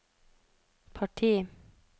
parti